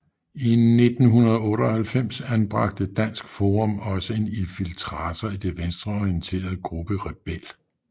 I 1998 anbragte Dansk Forum også en infiltrator i den venstreorienterede gruppe Rebel